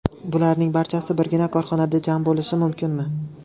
Bularning barchasi birgina korxonada jam bo‘lishi mumkinmi?